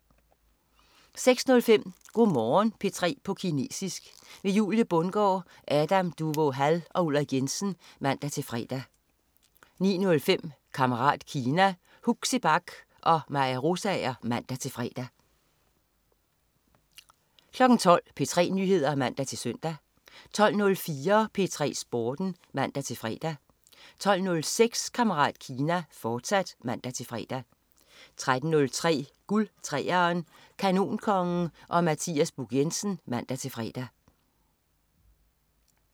06.05 Go' Morgen P3 på kinesisk. Julie Bundgaard, Adam Duvå Hall og Ulrik Jensen (man-fre) 09.05 Kammerat Kina. Huxi Bach og Maja Rosager (man-fre) 12.00 P3 Nyheder (man-søn) 12.04 P3 Sporten (man-fre) 12.06 Kammerat Kina, fortsat (man-fre) 13.03 Guld 3'eren. Kanonkongen og Mathias Buch Jensen (man-fre)